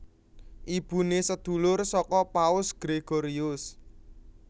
Ibune sedulur saka Paus Gregorius